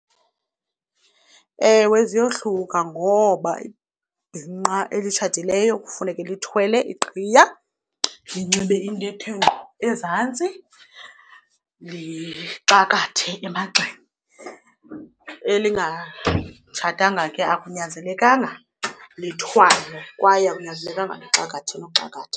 Ewe, ziyohluka ngoba ibhinqa elitshatileyo kufuneke lithwele iqhiya, linxibe into ethe ngqo ezantsi lixakathe emagxeni. Elingatshatanga ke akunyanzelekanga lithwale kwaye akunyanzelekanga lixakathe uxakatha.